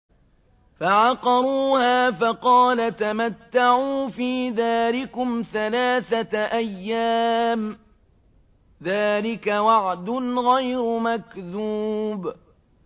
فَعَقَرُوهَا فَقَالَ تَمَتَّعُوا فِي دَارِكُمْ ثَلَاثَةَ أَيَّامٍ ۖ ذَٰلِكَ وَعْدٌ غَيْرُ مَكْذُوبٍ